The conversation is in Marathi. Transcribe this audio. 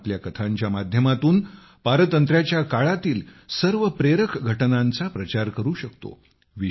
आपण आपल्या कथांच्या माध्यमातून गुलामगिरीच्या काळातील सर्व प्रेरक घटनांचा प्रचार करू शकतो